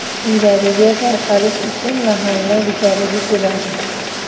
Uylariga tarqalish uchun mahalla guzariga keladi.